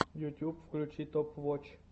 ютуб включи топ воч